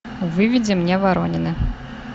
выведи мне воронины